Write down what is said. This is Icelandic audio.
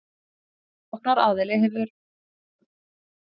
Sóknaraðili hefði ofgreitt af láninu